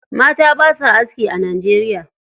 Mata basa aski a Najeriya.